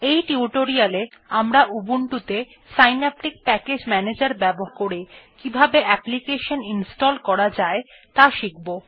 এই টিউটোরিয়ালে আমরা উবুন্টুতে সিন্যাপটিক প্যাকেজ ম্যানেজার ব্যবহার করে কিভাবে অ্যাপ্লিকেশন ইনস্টল করা যায় ত়া শিখব